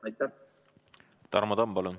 Tarmo Tamm, palun!